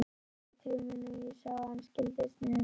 Hann leit til mín, ég sá að hann skildi sneiðina.